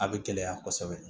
A bɛ gɛlɛya kosɛbɛ